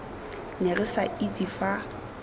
ne re sa itse fa